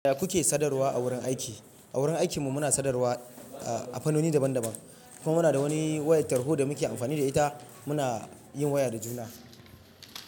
Ya kuke sadarwa a wurin aiki? A wurin aikinmu muna sadarwa a fannoni daban-daban kuma muna da wani wayar tarho da muke amfani da ita muna yin waya da juna.